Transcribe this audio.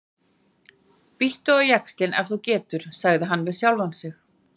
Bíttu á jaxlinn ef þú getur, sagði hann við sjálfan sig.